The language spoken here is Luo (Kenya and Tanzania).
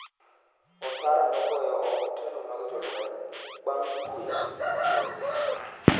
Ouattara nogoyo oko telo mag jolweny, bang' kwe kwe